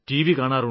കാണാറുണ്ട്